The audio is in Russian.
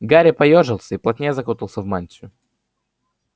гарри поёжился и плотнее закутался в мантию